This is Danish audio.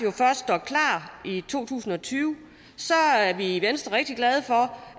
først er klar i to tusind og tyve er vi i venstre rigtig glade for